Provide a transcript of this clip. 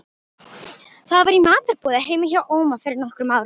Það var í matarboði heima hjá Óma fyrir nokkrum árum.